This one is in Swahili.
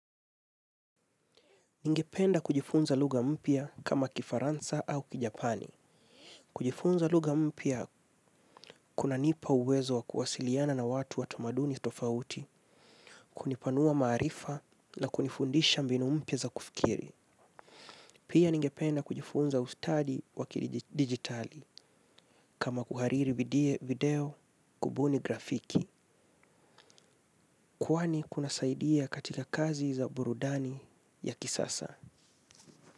Ningependa kujifunza luga mpya kama kifaransa au kijapani. Kujifunza luga mpya kuna nipa uwezo wa kuwasiliana na watu wa tumaduni tofauti, kunipanua maarifa na kunifundisha mbinu mpya za kufikiri. Pia ningependa kujifunza ustadi wakidigitali kama kuhariri video kubuni grafiki. Kwani zinasaidia katika kazi za burudani ya kisasa.